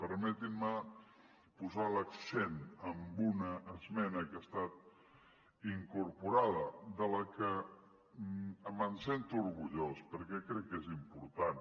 permetin me posar l’accent en una esmena que ha estat incorporada de la que em sento orgullós perquè crec que és important